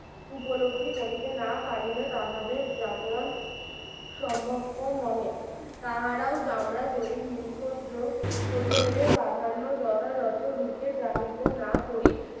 উপলব্ধি করিতে না পারিলে তাহাদের জাগরণ সম্ভবপর নহে তাহারাও জামরা জরি নিরুফ্রদ্র প্রতিরোধের প্রাধান্য যথাযথ রূপে জাহিদ না করি